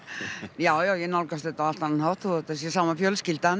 já já ég nálgast þetta á allt annan hátt þó þetta sé sama fjölskyldan